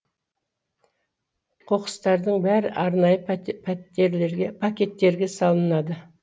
қоқыстардың бәрі арнайы пакеттерге салынады